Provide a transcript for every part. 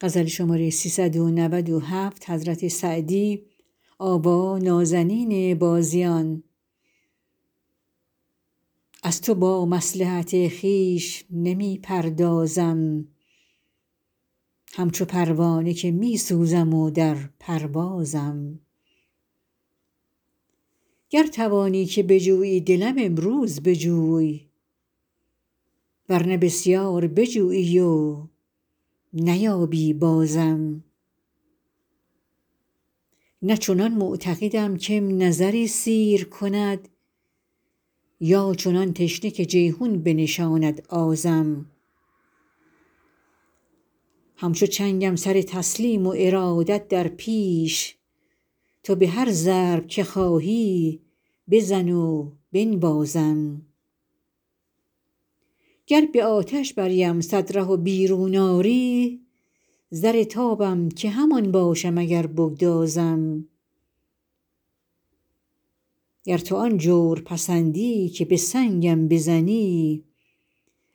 از تو با مصلحت خویش نمی پردازم همچو پروانه که می سوزم و در پروازم گر توانی که بجویی دلم امروز بجوی ور نه بسیار بجویی و نیابی بازم نه چنان معتقدم که م نظری سیر کند یا چنان تشنه که جیحون بنشاند آزم همچو چنگم سر تسلیم و ارادت در پیش تو به هر ضرب که خواهی بزن و بنوازم گر به آتش بریم صد ره و بیرون آری زر نابم که همان باشم اگر بگدازم گر تو آن جور پسندی که به سنگم بزنی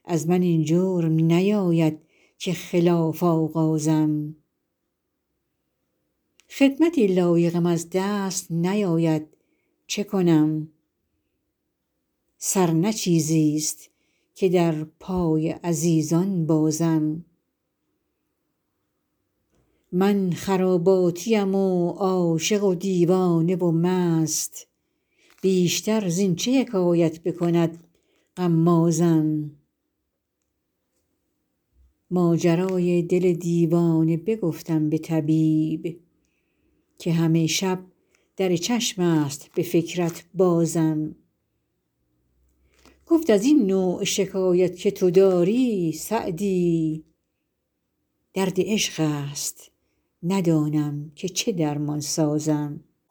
از من این جرم نیاید که خلاف آغازم خدمتی لایقم از دست نیاید چه کنم سر نه چیزیست که در پای عزیزان بازم من خراباتیم و عاشق و دیوانه و مست بیشتر زین چه حکایت بکند غمازم ماجرای دل دیوانه بگفتم به طبیب که همه شب در چشم است به فکرت بازم گفت از این نوع شکایت که تو داری سعدی درد عشق است ندانم که چه درمان سازم